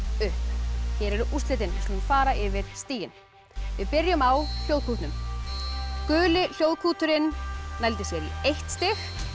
upp hér eru úrslitin við skulum fara yfir stigin við byrjum á Hljóðkútnum guli hljóðkúturinn nældi sér í eitt stig